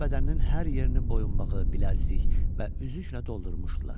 Onun bədəninin hər yerini boyunbağı, bilərzik və üzüklə doldurmuşdular.